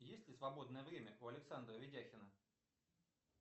есть ли свободное время у александра ведяхина